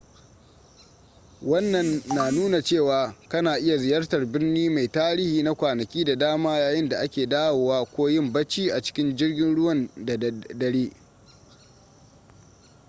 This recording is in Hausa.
wannan na nuna cewa kana iya ziyartar birni mai tarihi na kwanaki da dama yayin da ake dawowa ko yin bacci a cikin jirgin ruwan da dare